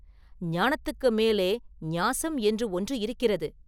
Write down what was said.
ஞானத்துக்கு மேலே ஞாஸம் என்று ஒன்று இருக்கிறது.